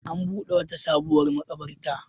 An buɗe wata sabuwar maƙabarta.